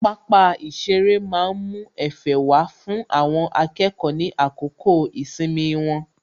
Pápá ìṣeré má ń mú Ẹ̀fẹ̀ wá fún àwọn akẹ́kọ̀ọ́ ní àsìkò ìsinmi wọn